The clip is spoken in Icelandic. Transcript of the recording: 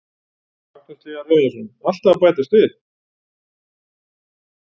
Magnús Hlynur Hreiðarsson: Alltaf að bætast við?